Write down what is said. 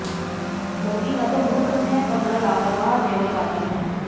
मोदी न तो मूर्ख हैं और न लापरवाह सैन्यवादी हैं